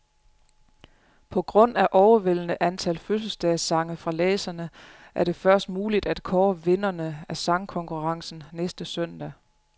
På grund af overvældende antal fødselsdagssange fra læserne, er det først muligt at kåre vinderne af sangkonkurrencen næste søndag.